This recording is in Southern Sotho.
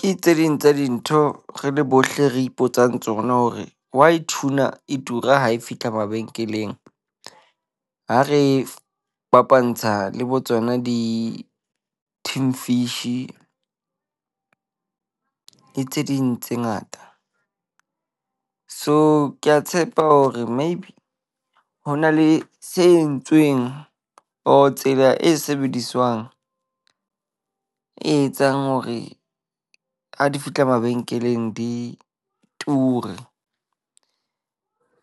Ke tse ding tsa dintho re le bohle re ipotsang tsona hore why tuna e tura ha e fihla mabenkeleng, ha re fapantsha le bo tsona di-tin fish tse ding tse ngata, So ke a tshepa hore maybe ho na le se entsweng or tsela e sebediswang e etsang hore ha di fihla mabenkeleng di ture.